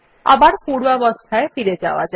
আবার পূর্বাবস্থায় ফিরে যাওয়া যাক